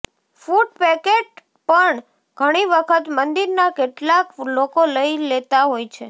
food packet પણ ઘણી વખત મંદિરના કેટલાક લોકો લઈ લેતા હોય છે